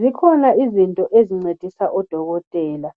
Zikhona izinto ezincedisa odokotela